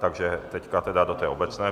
Takže teď tedy do té obecné.